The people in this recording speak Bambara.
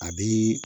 A bi